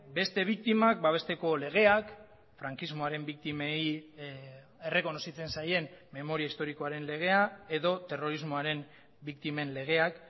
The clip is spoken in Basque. beste biktimak babesteko legeak frankismoaren biktimei errekonozitzen zaien memoria historikoaren legea edo terrorismoaren biktimen legeak